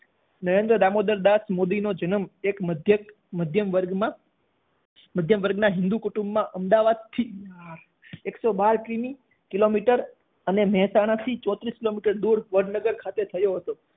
નરેન્દ્ર દામોદર દાસ મોદી નો જન્મ એક મઘ્યક મધ્યમ વર્ગ માં મધ્ય્મ વર્ગ ના હિન્દૂ કુટુમ માં અમદાવાદ થી એકસો બાર કિમિ કિલોમીટર અને મહેસાણા થી ચોત્રીશ કિલોમીટર દૂર વડનગર ખાતે થયો હતો.